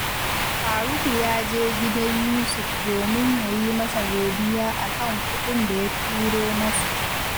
Faruku ya je gidan Yusuf domin ya yi masa godiya a kan kuɗin da ya turo masa